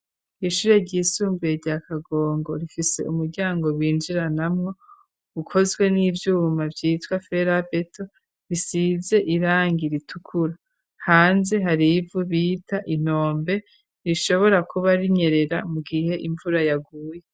Ishure ryisumbuye rya kagongo rifise umuryango binjiranamwo ukozwe n'ivyuma vyitwa ferabeto, risize irangi ritukura, hanze hari ivu bita intombe rishobora kuba rinyerera mu gihe imvura yaguye.